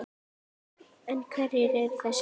En hverjir eru þessir strákar?